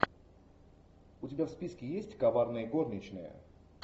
у тебя в списке есть коварные горничные